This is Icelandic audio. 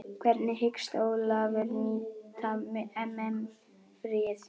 Hvernig hyggst Ólafur nýta EM fríið?